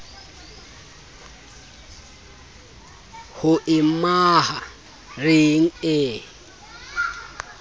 ho e maha reng e